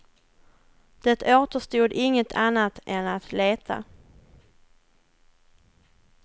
Det återstod inget annat än att leta.